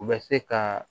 U bɛ se ka